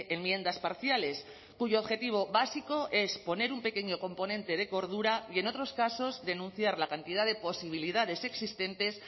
enmiendas parciales cuyo objetivo básico es poner un pequeño componente de cordura y en otros casos denunciar la cantidad de posibilidades existentes